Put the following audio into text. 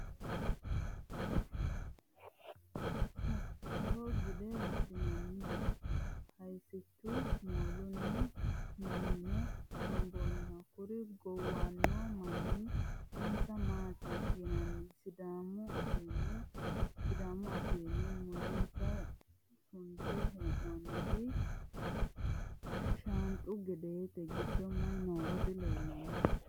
Safeho gide wodhinanniho hayisichu mooluni mimine gomboniho kuri gowano manna isi maati yinanni sidaamu afiini, mulese sunte hee'noniti shanxu gedete giddo mayi nooro dileellano.